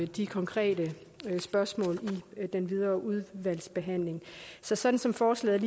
de konkrete spørgsmål i den videre udvalgsbehandling så sådan som forslaget